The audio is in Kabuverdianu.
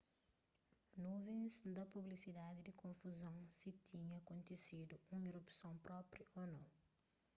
nuvens da pusibiliadi di konfuzon si tinha kontisidu un erupson propi ô nou